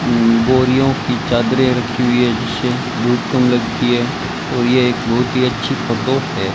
बोरियों की चादर रखी हुई है जिसे धूप कम लगती है और ये एक बहुत ही अच्छी है।